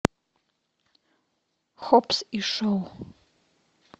хоббс и шоу